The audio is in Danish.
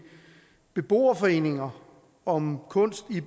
beboerforeninger om kunst i